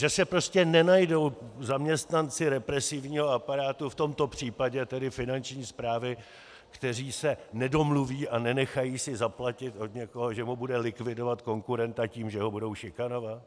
Že se prostě nenajdou zaměstnanci represivního aparátu, v tomto případě tedy Finanční správy, kteří se nedomluví a nenechají si zaplatit od někoho, že mu budou likvidovat konkurenta tím, že ho budou šikanovat?